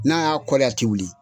N'a y'a a ti wuli.